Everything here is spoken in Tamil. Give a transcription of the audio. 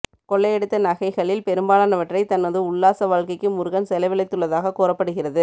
கொள்ளையடித்த நகைகளில் பெரும்பாலானவற்றை தனது உல்லாச வாழ்க்கைக்கு முருகன் செலவழித்துள்ளதாக கூறப்படுகிறது